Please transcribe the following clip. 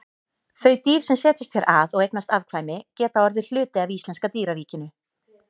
Þau dýr sem setjast hér að og eignast afkvæmi geta orðið hluti af íslenska dýraríkinu.